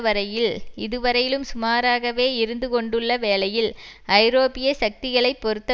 வரையில் இதுவரையிலும் சுமாராகவே இருந்து கொண்டுள்ள வேளையில் ஐரோப்பிய சக்திகளைப் பொறுத்த